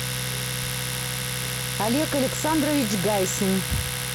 олег александрович гайсин